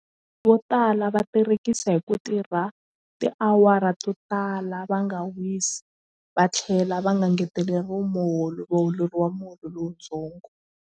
Vo tala va tirekisa hi ku tirha tiawara to tala va nga wisi va tlhela va nga ngeteleriwa muholo va holeriwa munhu lowuntsongo.